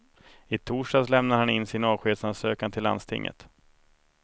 I torsdags lämnade han in sin avskedsansökan till landstinget.